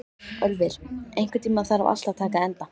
Ölvir, einhvern tímann þarf allt að taka enda.